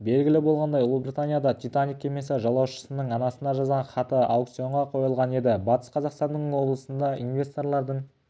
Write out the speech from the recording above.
белгілі болғандай ұлыбританияда титаник кемесі жолаушысының анасына жазған хаты аукционға қойылған еді батыс қазақстан облысында инвесторлардың